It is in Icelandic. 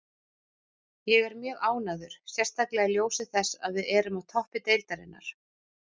Ég er mjög ánægður, sérstaklega í ljósi þess að við erum á toppi deildarinnar.